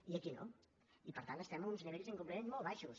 i aquí no i per tant estem a uns nivells d’incompliment molt baixos